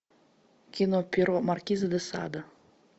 кино перо маркиза де сада